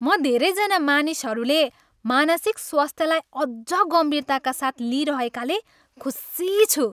म धेरैजना मानिसहरूले मानसिक स्वास्थ्यलाई अझ गम्भीरताका साथ लिइरहेकाले खुसी छु।